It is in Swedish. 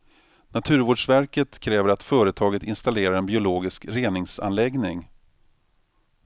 Naturvårdsverket kräver att företaget installerar en biologisk reningsanläggning.